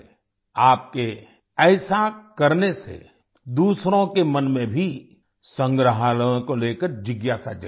आपके ऐसा करने से दूसरों के मन में भी संग्रहालयों के लेकर जिज्ञासा जगेगी